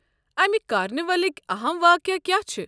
امہِ کارنیولٕکۍ اَہَم واقعہٕ کیٛاہ چھِ؟